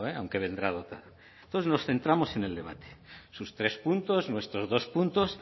vendrá dotado nosotros nos centramos en el debate sus tres puntos nuestros dos puntos